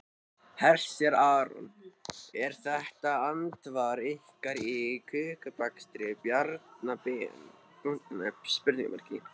Hersir Aron: Er þetta andsvar ykkar við kökubakstri Bjarna Ben?